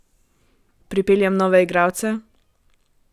Pripeljem nove igralce?